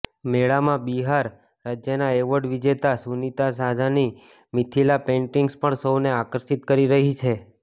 મેળામાં બિહાર રાજ્યના એવોર્ડ વિજેતા સુનિતા ઝાની મિથિલા પેઇન્ટિંગ્સ પણ સૌને આકર્ષિત કરી રહી છે